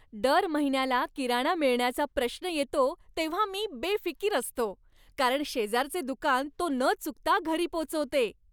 दर महिन्याला किराणा मिळण्याचा प्रश्न येतो तेव्हा मी बेफिकीर असतो, कारण शेजारचे दुकान तो न चुकता घरी पोचवते.